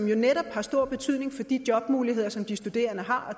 jo netop har stor betydning for de jobmuligheder som de studerende har